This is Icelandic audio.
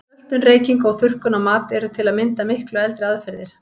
Söltun, reyking og þurrkun á mat eru til að mynda miklu eldri aðferðir.